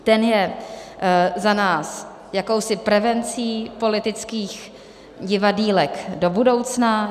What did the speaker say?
Ten je za nás jakousi prevencí politických divadýlek do budoucna.